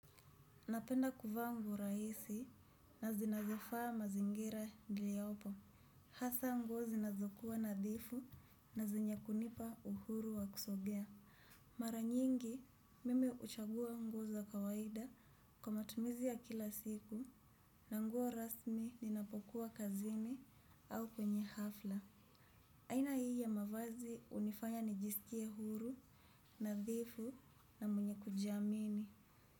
Napenda kuvaa nguo rahisi na zinazofaa mazingira niliopo. Hasa nguo zinazokuwa nadhifu na zenye kunipa uhuru wa kusogea. Mara nyingi mim huchagua nguo kawaida kwa matumizi ya kila siku na nguo rasmi ninapokuwa kazini au kwenye hafla. Aina hii ya mavazi hunifanya nijisikie huru, nadhifu na mwenye kujiamini.